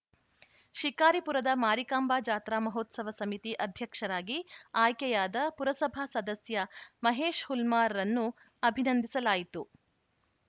ಶಿಕಾರಿಪುರದ ಮಾರಿಕಾಂಬಾ ಜಾತ್ರಾ ಮಹೋತ್ಸವ ಸಮಿತಿ ಅಧ್ಯಕ್ಷರಾಗಿ ಆಯ್ಕೆಯಾದ ಪುರಸಭಾ ಸದಸ್ಯ ಮಹೇಶ್‌ ಹುಲ್ಮಾರ್‌ರನ್ನು ಅಭಿನಂದಿಸಲಾಯಿತು